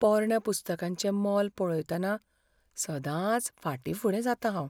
पोरण्या पुस्तकांचें मोल पळयतना सदांच फाटीं फुडें जातां हांव.